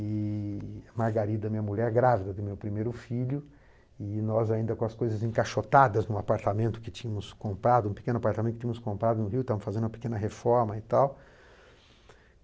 e Margarida, minha mulher, grávida do meu primeiro filho, e nós ainda com as coisas encaixotadas num apartamento que tínhamos comprado, um pequeno apartamento que tínhamos comprado no Rio, estávamos fazendo uma pequena reforma e tal.